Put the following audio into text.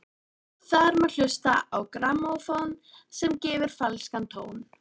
Þar má hlusta á grammófón sem að gefur falskan tón.